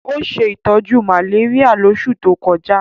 Ó ṣe ìtọ́jú malaria lóṣù tó kọjá